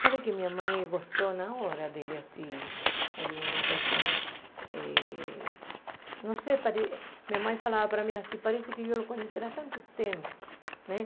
Sabe que a minha mãe gostou na hora dele assim, aí uma pessoa, eh não sei, minha mãe falava para mim assim, parece que eu o conheci há tanto tempo né.